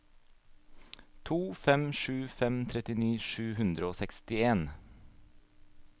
to fem sju fem trettini sju hundre og sekstien